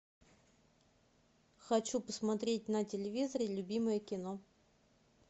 хочу посмотреть на телевизоре любимое кино